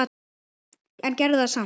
En gerðu það samt.